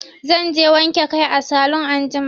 Zan je wanke kai a salun anjima.